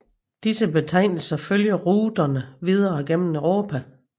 Disse betegnelser følger ruterne videre gennem Europa